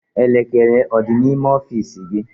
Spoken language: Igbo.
Elekere ọ dị n'ime ọfiisi gị?